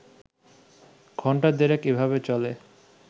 ঘণ্টা দেড়েক এভাবে চলে